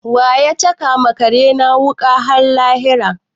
Wa ya caka wa kare na wuƙa har lahira?